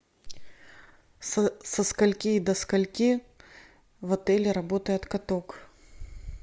со скольки до скольки в отеле работает каток